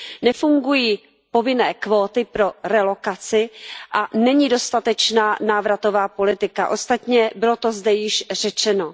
Nefungují povinné kvóty pro relokaci a není dostatečná návratová politika, ostatně bylo to zde již řečeno.